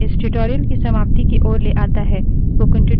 यह मुझे इस tutorial की समाप्ति की ओर लाता है